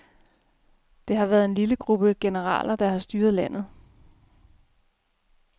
Det har været en lille gruppe generaler, der har styret landet.